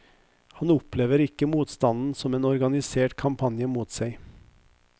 Han opplever ikke motstanden som en organisert kampanje mot seg.